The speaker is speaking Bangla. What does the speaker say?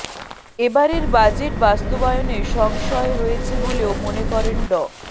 এবারের বাজেট বাস্তবায়নে সংশয় রয়েছে বলেও মনে করেন ড